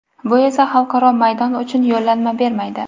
Bu esa xalqaro maydon uchun yo‘llanma bermaydi.